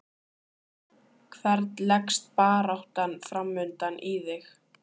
Hvern leggst baráttan framundan í þig?